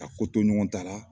Ka ko to ɲɔgɔn ta la